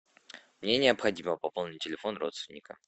мне необходимо пополнить телефон родственника